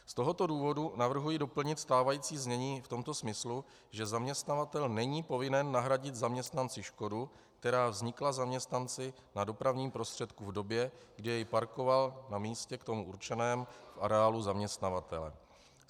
Z tohoto důvodu navrhuji doplnit stávající znění v tomto smyslu, že zaměstnavatel není povinen nahradit zaměstnanci škodu, která vznikla zaměstnanci na dopravním prostředku v době, kdy jej parkoval na místě k tomu určeném v areálu zaměstnavatele.